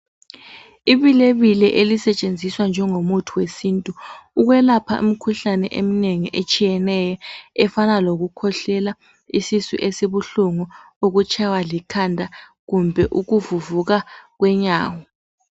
Ibilebile elisetshenziswa njengomuthi wesintu, ukwelapha imikhuhlane eminengi etshiyeneyo efana lokukhwehlela, isisu esibuhlungu ukutshaywa likhanda kumbe ukuvuvuka kwenyawo.